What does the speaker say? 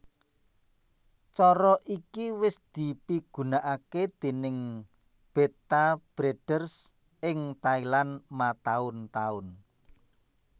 Cara iki wis dipigunakaké déning Betta Breeders ing Thailand mataun taun